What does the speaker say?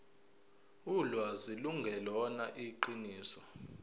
ulwazi lungelona iqiniso